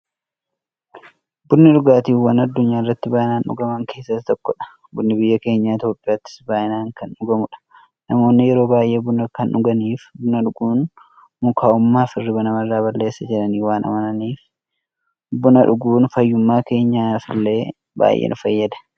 Bunni dhugaatiiwwan addunyaarratti baay'inaan dhugaman keessaa isa tokkodha. Bunni biyya keenya Itiyoophiyaattis baay'inaan kan dhugamuudha. Namoonni yeroo baay'ee buna kan dhuganiif, buna dhuguun mukaa'ummaafi hirriiba namarraa balleessa jedhanii waan amananiifi. Buna dhuguun fayyummaa keenyaf illee baay'ee nu fayyada.